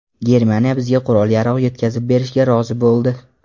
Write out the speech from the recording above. Germaniya bizga qurol-yarog‘ yetkazib berishga rozi bo‘ldi”.